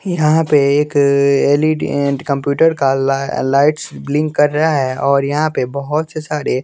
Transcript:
यहां पे एक एल_ई_डी अ कम्प्यूटर का लाइ लाइट्स ब्लिंक कर रहा है और यहां पे बहोत से सारे--